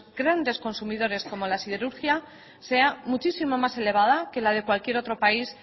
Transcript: grandes consumidores como la siderurgia sea muchísimo más elevada que la de cualquier otro país